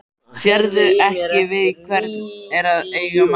Sérðu ekki við hvern er að eiga maður?